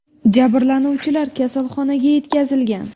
Jabrlanuvchilar kasalxonaga yetkazilgan.